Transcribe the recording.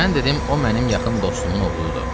Mən dedim o mənim yaxın dostumun oğludur.